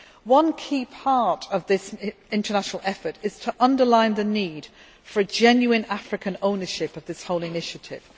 One key part of this international effort is to underline the need for a genuine African ownership of this whole initiative.